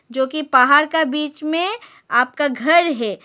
जो की पहाड़ का बीच में आपका घर है।